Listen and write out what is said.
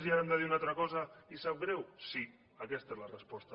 i ara hem de dir una altra cosa i sap greu sí aquesta és la resposta